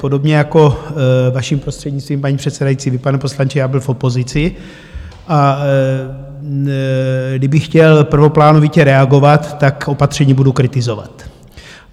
Podobně jako, vaším prostřednictvím, paní předsedající, vy, pane poslanče, já byl v opozici, a kdybych chtěl prvoplánovitě reagovat, tak opatření budu kritizovat.